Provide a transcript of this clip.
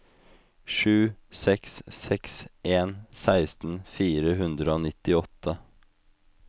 sju seks seks en seksten fire hundre og nittiåtte